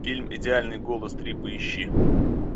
фильм идеальный голос три поищи